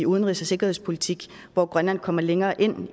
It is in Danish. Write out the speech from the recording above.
udenrigs og sikkerhedspolitik hvor grønland kommer længere ind